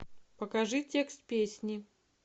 покажи текст песни